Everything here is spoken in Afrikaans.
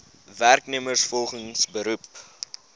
werknemers volgens beroep